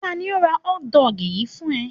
Ta ni ó ra hotdog yìí fún ẹ?